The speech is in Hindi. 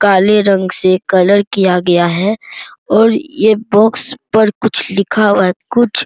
काले रंग से कलर किया गया है और ये बॉक्स पर कुछ लिखा हुआ है कुछ --